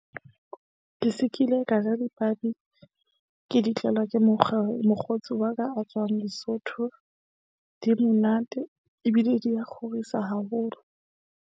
Ke se ki le ka ja dipabi. Ke di tlelwa ke mokgwa, mokgotsi wa ka a tswang Lesotho. Di monate ebile di a kgorisa haholo.